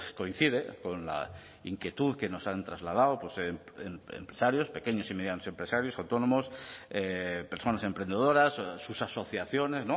coincide con la inquietud que nos han trasladado empresarios pequeños y medianos empresarios autónomos personas emprendedoras sus asociaciones